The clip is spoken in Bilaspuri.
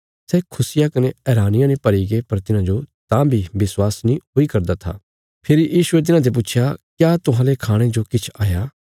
सै खुशिया कने हैरानिया ने भरीगे पर तिन्हाजो तां बी विश्वास नीं हुई करदा था फेरी यीशुये तिन्हाते पुच्छया क्या तुहांले खाणे जो किछ हाया